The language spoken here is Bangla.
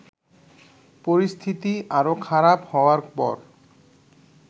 পরিস্থিতি আরও খারাপ হওয়ার পর